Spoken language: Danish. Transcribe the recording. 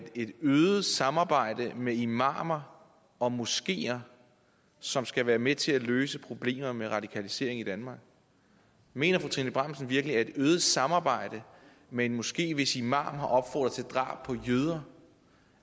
det er et øget samarbejde med imamer og moskeer som skal være med til at løse problemer med radikalisering i danmark mener fru trine bramsen virkelig et øget samarbejde med en moské hvis imam har opfordret til drab på jøder